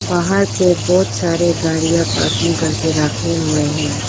बाहर पे बहोत सारे गाड़ियां पार्किंग करके रखे हुए हैं।